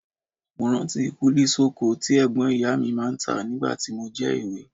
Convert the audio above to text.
Mo rántí kúlí sọ̀kọ̀ tí ẹ̀gbọ́n ìyá mi máa ń tà nígbà tí mo jẹ́ èwe